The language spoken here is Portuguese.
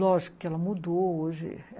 Lógico que ela mudou hoje.